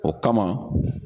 O kama